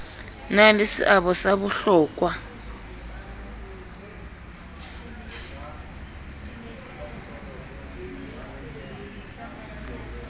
na le seabo sa bohlokwa